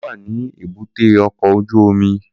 Kunle wà ní èbúté ọkọ̀ ojú omi